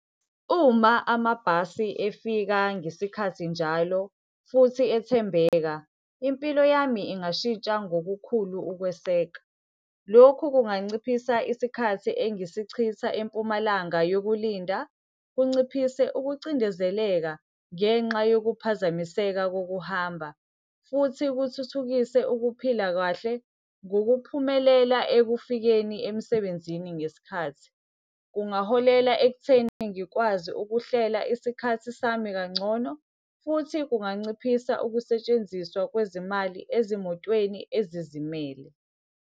Uma amabhasi efika ngesikhathi njalo futhi ethembeka, impilo yami ingashintsha ngokukhulu ukweseka. Lokhu kunganciphisa isikhathi engisichitha empumalanga yokulinda, kunciphise ukucindezeleka ngenxa yokuphazamiseka kokuhamba. Futhi kuthuthukise ukuphila kahle, ngokuphumelela ekufikeni emsebenzini ngesikhathi. Kungaholela ekutheni ngikwazi ukuhlela isikhathi sami kangcono, futhi kunganciphisa ukusetshenziswa kwezimali ezimotweni ezizimele.